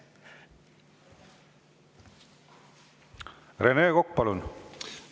Rene Kokk, palun!